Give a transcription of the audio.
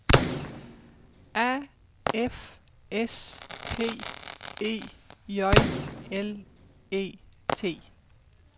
A F S P E J L E T